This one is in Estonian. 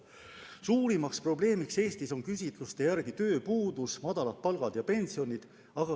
Suurimaks probleemiks Eestis on küsitluste järgi tööpuudus, väikesed palgad ja pensionid.